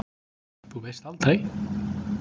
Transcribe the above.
Þú veist aldrei?